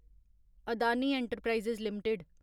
Adani enterprises limited